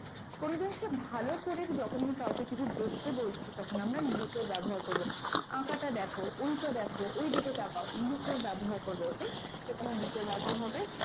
কোনো জিনিসকে ভালো করে যখন আমি কাউকে দেখতে বলছি তখন আমরা look এর ব্যবহার করব আকাটা দেখো, ওইটা দেখো, ওই দিকে তাকাও look এর ব্যবহার করব OK তো এখানে look এর ব্যবহার হবে।